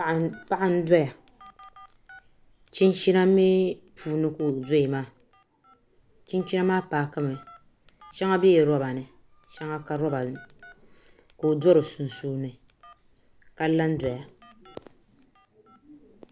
Paɣa n doya chinchina mii puuni ka o doya maa chinchina maa paaki mi shɛŋa biɛla roba ni ka shɛŋa ka roba ni ka o do di sunsuuni ka la n doya